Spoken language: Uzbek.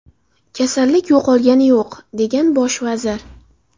Kasallik yo‘qolgani yo‘q”, degan bosh vazir.